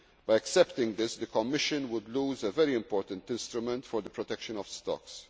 of fisheries. By accepting this, the Commission would lose a very important instrument for the protection